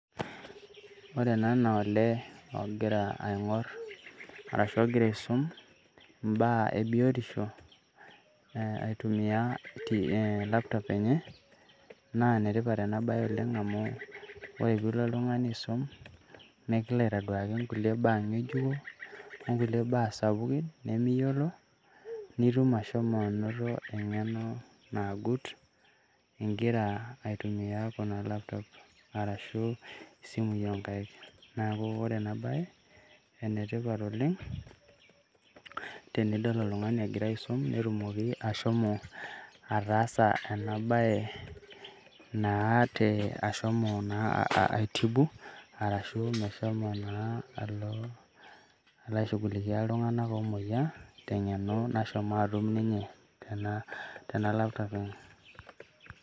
Ore ena naa olee ogira aing'orr arashu ogira aisum imbaa ebiotisho aitumia aa laptop enye, naa enetipat ena baye oleng' amu ore piilo oltung'ani aisum nikilo aitaduaki kulie baa ng'ejuko okulie baa sapukin nemiyiolo nitum ashomo anoto eng'eno nagut ingira aitumia ina laptop arashu isimui oonkaik neeku ore ena baye enetipat oleng' tenidol oltung'ani egira aisum netumoki ashomo ataasa ena baye naa ashomo naa aitibu ashu meshomo naa alo aishugulikia iltung'anak oomuoyiaa teng'eno nashomo aatum ninye tena laptop enye.